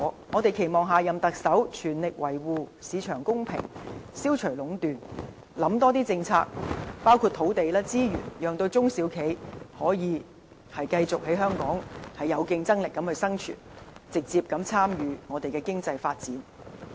我們期望下任特首全力維護市場公平，消除壟斷，訂立更多政策，包括土地、資源的政策，讓中小企業繼續在香港有競爭力地生存，直接參與經濟發展。